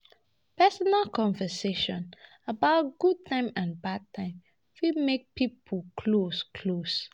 Personal conversations about good times and bad times fit make pipo close close